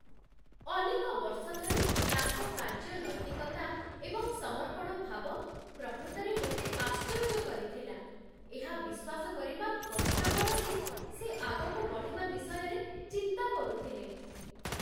ଅନେକ ବର୍ଷ ଧରି ତାଙ୍କ କାର୍ଯ୍ୟ ନୈତିକତା ଏବଂ ସମର୍ପଣ ଭାବ ପ୍ରକୃତରେ ମୋତେ ଆଶ୍ଚର୍ଯ୍ୟ କରିଥିଲା, ଏହା ବିଶ୍ୱାସ କରିବା କଷ୍ଟକର ଯେ ସେ ଆଗକୁ ବଢ଼ିବା ବିଷୟରେ ଚିନ୍ତା କରୁଥିଲେ